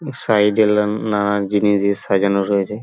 সাইডে লান নানা জিনিস দিয়ে সাজানো রয়েছে।